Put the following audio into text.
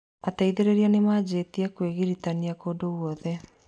Ateithĩrĩria nĩmanjĩrĩrie kwĩgiritania kũndũ gwothe